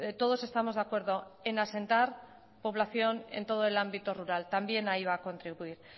todos estamos de acuerdo en asentar población en todo el ámbito rural también ahí va a contribuir